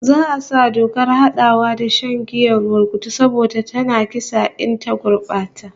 Za'a sa dokar hadawa da shan giyar burkutu saboda tana kisa in ta gurbata